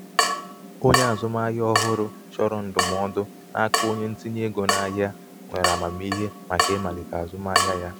onye azụmahịa ọhụrụ chọrọ ndụmọdụ n'aka onye ntinyé ego n'ahịa nwere amamihe màkà ịmalite azụmahịa ya.